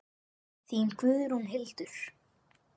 Þín Guðrún Hildur.